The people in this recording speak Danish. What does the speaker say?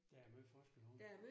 Der er meget forskel på dem